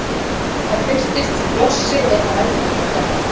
það birtist sem blossi eða eldtunga